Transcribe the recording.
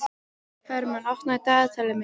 Hermann, opnaðu dagatalið mitt.